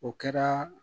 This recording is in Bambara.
O kɛra